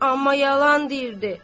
Amma yalan dirdi.